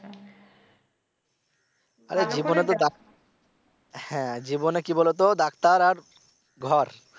আরে জীবনে তো হ্যা জীবনে কি বলো তো ডাক্তার আর ঘর